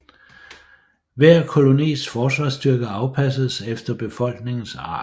Hver kolonis forsvarsstyrke afpassedes efter befolkningens art